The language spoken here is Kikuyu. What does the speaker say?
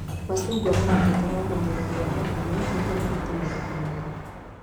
Macungwa mabataraga ũmenyereri wa hakuhĩ nĩguo marute magetha mega